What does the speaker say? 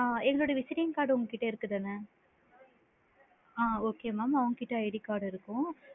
ஆ எங்களோட visiting card உங்க கிட்ட இருக்குதுதான ஆ okay mam அவுங்ககிட்ட ID card இருக்கும்.